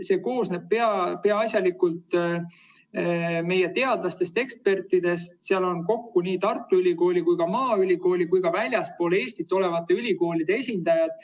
See koosneb peaasjalikult meie teadlastest-ekspertidest, seal on nii Tartu Ülikooli, maaülikooli kui ka väljaspool Eestit olevate ülikoolide esindajad.